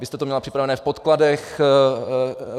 Vy jste to měla připraveno v podkladech.